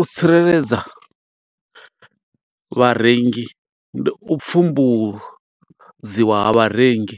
U tsireledza vharengi, ndi u pfumbudziwa vharengi.